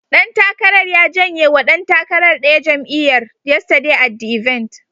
Ɗan takarar ya jenye wa ɗan takarar ɗaya jam'iyyar, yesterday at the event.